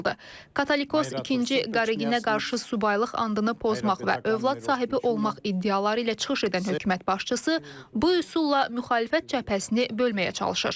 Katolikos ikinci Qareginə qarşı subaylıq andını pozmaq və övlad sahibi olmaq iddiaları ilə çıxış edən hökumət başçısı bu üsulla müxalifət cəbhəsini bölməyə çalışır.